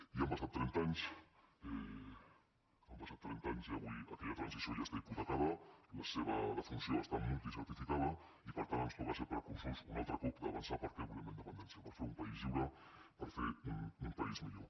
i han passat trenta anys han passat trenta anys i avui aquella transició ja està hipotecada la seva defunció està multicertificada i per tant ens toca ser precursors un altre cop d’avançar per què volem la independència per fer un país lliure per fer un país millor